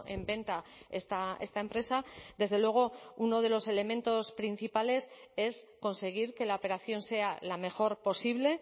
en venta esta empresa desde luego uno de los elementos principales es conseguir que la operación sea la mejor posible